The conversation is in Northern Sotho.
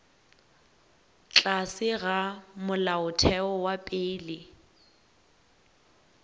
tlase ga molaotheo wa pele